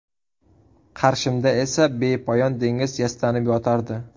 Qarshimda esa bepoyon dengiz yastanib yotardi.